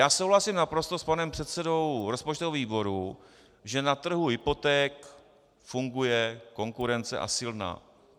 Já souhlasím naprosto s panem předsedou rozpočtového výboru, že na trhu hypoték funguje konkurence, a silná.